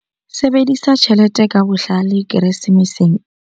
Sebedisa tjhelete ka bohlale Keresemeseng.